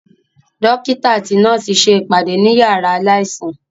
Dókítà àti nọ́ọ̀sì ṣe ìpàdé ní yàrá aláìsàn